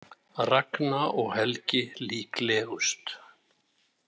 Ragna og Helgi líklegust